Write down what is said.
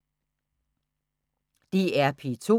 DR P2